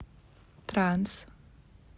транс